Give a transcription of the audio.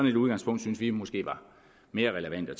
et udgangspunkt synes vi måske var mere relevant at